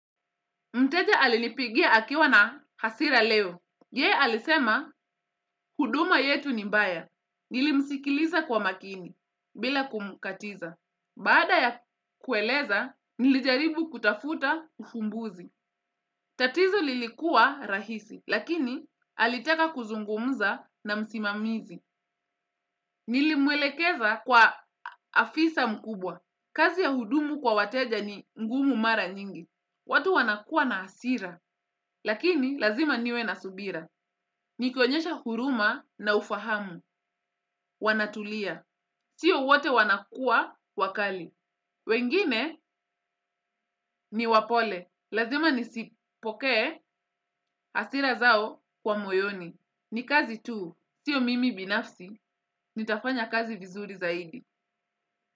Mteja alinipigia akiwa na hasira leo. Ye alisema, huduma yetu ni mbaya. Nilimsikiliza kwa makini, bila kumkatiza. Bada ya kueleza, nilijaribu kutafuta ufumbuzi. Tatizo lilikuwa rahisi, lakini alitaka kuzungumuza na msimamizi. Nilimwelekeza kwa afisa mkubwa. Kazi ya hudumu kwa wateja ni ngumu mara nyingi. Watu wanakua na hasira. Lakini lazima niwe na subira. Ni kionyesha huruma na ufahamu. Wanatulia. Sio wote wanakua wakali. Wengine ni wapole. Lazima nisipoke hasira zao kwa moyoni. Ni kazi tu. Tio mimi binafsi. Nitafanya kazi vizuri zaidi.